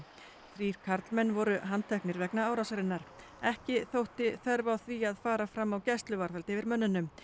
þrír karlmenn voru handteknir vegna árásarinnar ekki þótti þörf á því að fara fram á gæsluvarðhald yfir mönnunum